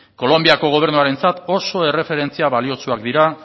kolonbiako gobernuarentzat oso erreferentzia baliotsuak dira